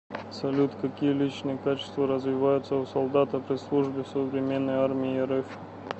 салют какие личные качества развиваются у солдата при службе в современной армии рф